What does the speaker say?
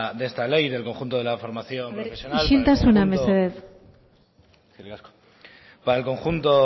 de esta ley del conjunto de la formación profesional isiltasuna mesedez eskerrik asko para el conjunto